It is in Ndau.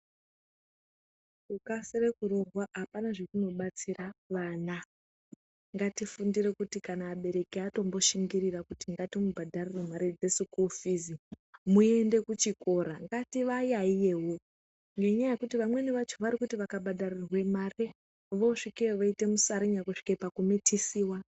Kukasire kurwara hakuna zvakunobatsire kuana ngatifundire kuti kana abereki edu atomboshinga kuti ngarimubhadharire sikuru fizi muende kuchikora tiwayaiyewo ngenyaya yekuti wamweni wacho warikuti wakabhadharirwe mare wosvikeyo woita musarinya kuzvike pakumitisiwa.